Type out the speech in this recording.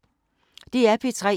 DR P3